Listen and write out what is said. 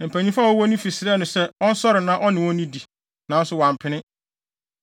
Mpanyimfo a wɔwɔ ne fi srɛɛ no sɛ ɔnsɔre na ɔne wɔn nnidi, nanso wampene.